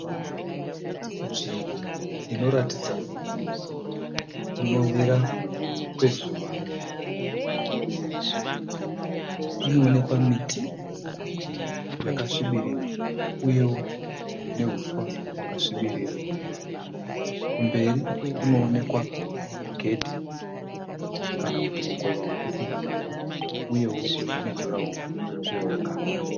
Nzvimbo inoratidza kunovira kwezuva. Panoonekwa miti yakasvibirira uyewo nehuswa hwakasvibirira. Kumberi kunoonekwa gedhi kana kuti mukova wekupinda nawo uyewo nejuraho riri kuoneka.